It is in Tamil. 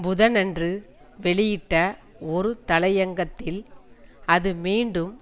புதனன்று வெளியிட்ட ஒரு தலையங்கத்தில் அது மீண்டும்